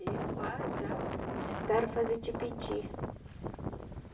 E com a ja... jacitara faz o tipiti.